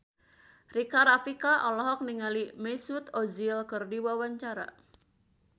Rika Rafika olohok ningali Mesut Ozil keur diwawancara